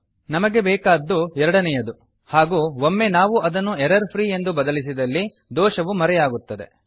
ನಮಗೆ ಬೇಕಾದ್ದು ಎರಡನೇಯದು ಹಾಗೂ ಒಮ್ಮೆ ನಾವು ಅದನ್ನು ಎರರ್ಫ್ರೀ ಎಂದು ಬದಲಿಸಿದಲ್ಲಿ ದೋಷವು ಮರೆಯಾಗುತ್ತದೆ